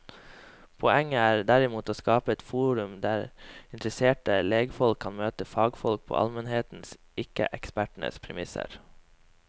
Poenget er derimot å skape et forum der interesserte legfolk kan møte fagfolk på almenhetens, ikke ekspertens, premisser.